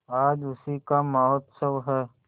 आज उसी का महोत्सव है